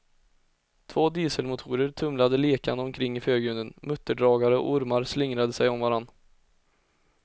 Två dieselmotorer tumlade lekande omkring i förgrunden, mutterdragare och ormar slingrade sig om varandra.